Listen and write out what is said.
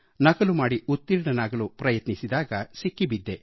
ನಕಲು ಮಾಡಿ ಉತ್ತೀರ್ಣನಾಗಲು ಪ್ರಯತ್ನಿಸಿದಾಗ ಸಿಕ್ಕಿಬಿದ್ದೆ